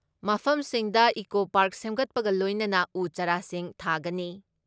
ꯃꯐꯝꯁꯤꯡꯗ eco park ꯁꯦꯝꯒꯠꯄꯒ ꯂꯣꯏꯅꯅ ꯎ ꯆꯥꯔꯥꯁꯤꯡ ꯊꯥꯒꯅꯤ ꯫